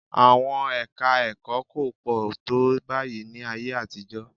Àwọn ẹka-ẹ̀kọ́ kò pọ̀ tó báyìí ní ayé àtijọ́